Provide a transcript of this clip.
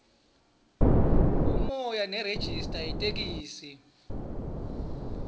umoya nerejista itheksthi